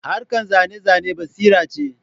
Harkar zane-zane basira ce